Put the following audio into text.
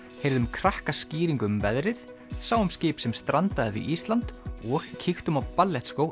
heyrðum krakkaskýringu um veðrið sáum skip sem strandaði við Ísland og kíktum á